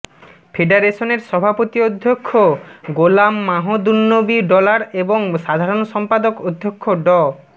ফেডারেশনের সভাপতি অধ্যক্ষ গোলাম মাহদুন্নবী ডলার এবং সাধারণ সম্পাদক অধ্যক্ষ ড